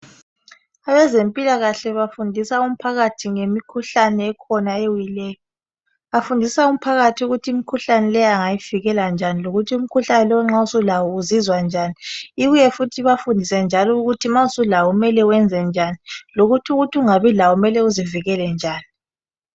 Abezempilakahle bafundisa umphakathi ngemikhuhlane ekhona ewileyo bafundisa umphakathi ukuthi imkhuhlane le angayivikela njani lokuthi umkhuhlane lowu ma sulawo uzizwa njani ibuye futhi ibafundise njalo ukuthi ma sulawo kumele wenze njani lokuthi ukuthi kungabi lawo kumele wenze njani